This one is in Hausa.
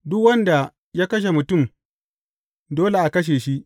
Duk wanda ya kashe mutum, dole a kashe shi.